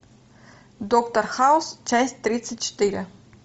доктор хаус часть тридцать четыре